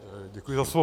Děkuji za slovo.